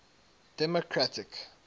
democratic